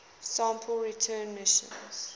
sample return missions